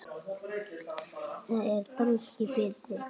Þá er danskan betri.